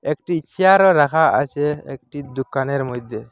একটি চেয়ারও রাখা আছে একটি দুকানের মইধ্যে।